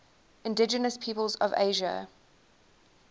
indigenous peoples of asia